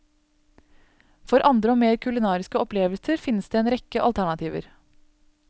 For andre og mer kulinariske opplevelser finnes det en rekke alternativer.